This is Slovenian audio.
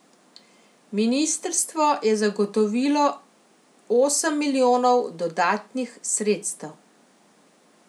Ministrstvo je zagotovilo osem milijonov dodatnih sredstev.